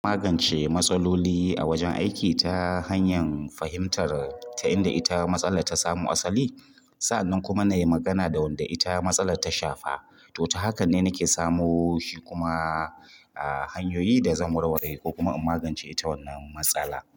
Ina magance matsaloli a wajen aiki ta hanyar fahimtar ta inda ita matsalar ta samo asali. Sa'annan kuma na yi magana da wanda ita matsalar ta shafa. To, ta haka ne nake samu shi kuma hanyoyin da zan warware ko kuma in magance ita wannan matsala.